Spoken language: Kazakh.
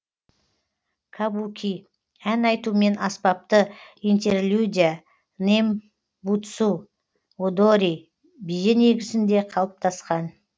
кабуки ән айту мен аспапты интерлюдия нэмбуцу одори биі негізінде калыптасқан